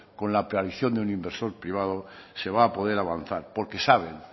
con la de un inversor privado se va a poder avanzar porque saben